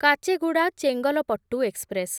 Kacheguda Chengalpattu express